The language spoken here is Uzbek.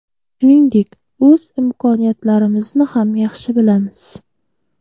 Shuningdek, o‘z imkoniyatlarimizni ham yaxshi bilamiz.